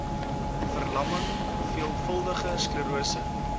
verlamming veelvuldige sklerose